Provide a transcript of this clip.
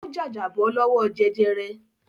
Ó jàjàbọ́ lọ́wọ́ jẹjẹrẹ.